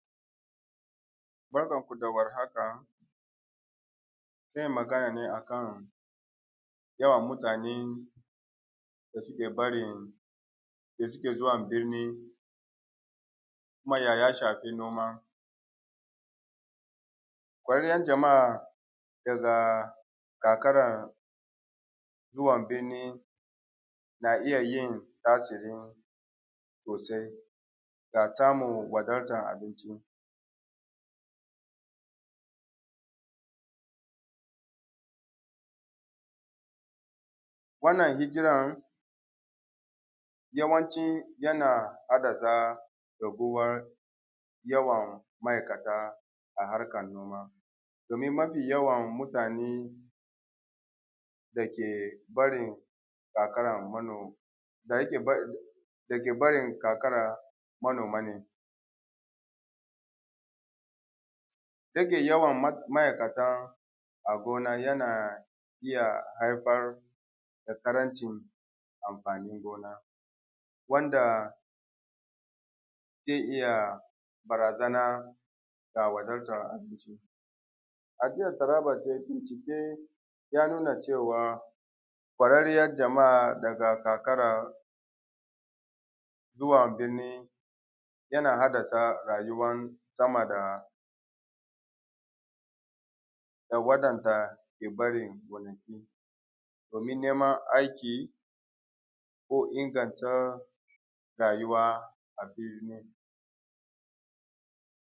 Bakanku da wahaka zan yi magana ne akan yawan mutane ke barin suke zuwa birni kuma ya shafi noma. Bariyan jama’a a karkaran zuwa binni na iya tasirin sosai ga samun wadatar abinci, wannan hijiran ya hanaan ci yana hadasa raguwan yawan ma’aikata a hakan noma domin yawan mutane da ke barin karkaran dake da yake barin karkara manoma ne yake yawan ma’aikatan a gona na iya haifar da ƙarancin amfanin gona wanda ze iya barazana ga wadata abinci, ajiya taaba ke bincike ya nuna cewa ƙwaarriyan jama’a daga karkara zuwa birni yana hadasa rayuwan sama da na waɗanda ke ɗage gonaki domin niman aiki ko inganta rayuwa a birni.